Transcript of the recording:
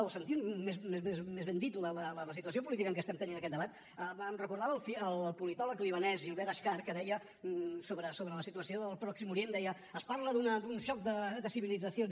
o sentint més ben dit la situació política en què estem tenint aquest debat em recordava el politòleg libanès gilbert achcar que sobre la situació del pròxim orient deia es parla d’un xoc de civilitzacions